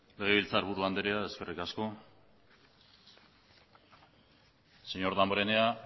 legebiltzarburu andrea eskerrik asko señor damborenea